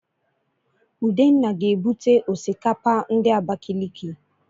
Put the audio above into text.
Udenna ga-ebute Osikapa ndi Abakiliki